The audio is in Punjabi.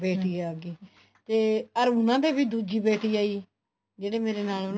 ਬੇਟੀ ਆਗੀ ਤੇ ਅਮ ਉਹਨਾ ਦੇ ਵੀ ਸੂਜੀ ਬੇਟੀ ਆਈ ਜਿਹੜੇ ਮੇਰੇ ਨਾਲ ਉਹਨਾ ਨੇ